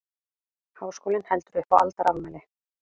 Háskólinn heldur upp á aldarafmæli